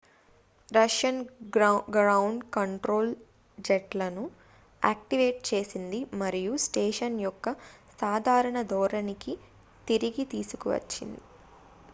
Russian ground control జెట్లను activate చేసింది మరియు స్టేషన్ యొక్క సాధారణ ధోరణిని తిరిగి తీసుకొచ్చింది